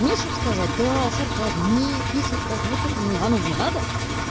нет что б сказать да сарказм нет не сарказм вот это ну оно мне надо